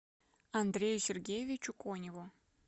андрею сергеевичу коневу